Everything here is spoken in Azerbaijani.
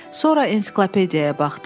Sonra ensiklopediyaya baxdım.